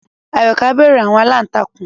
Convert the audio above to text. Ayoka bẹru àwọn àlàntakùn